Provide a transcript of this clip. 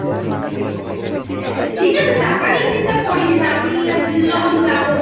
ঠিক আছে টাকা নিয়ে চিন্তা করিস না আমি আর জিজু যখন যাব তো